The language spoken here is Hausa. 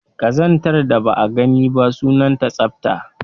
Ƙazantar da ba a gani ba, sunanta tsafta